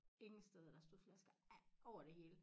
Ingen steder der stod flasker over det hele